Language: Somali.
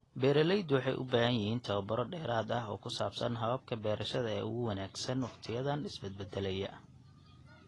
Beeraleydu waxay u baahan yihiin tababaro dheeraad ah oo ku saabsan hababka beerashada ee ugu wanaagsan waqtiyadan isbedbeddelaya.